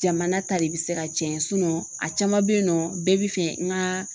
Jamana ta de bɛ se ka cɛn a caman bɛ yen nɔ bɛɛ bɛ fɛ n ka